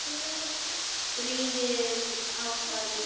Stríðið hófst á ný.